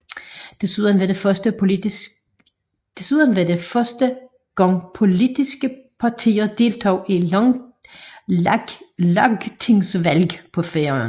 Desuden var det første gang politske partier deltog i lagtingsvalg på Færøerne